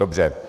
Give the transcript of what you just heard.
Dobře.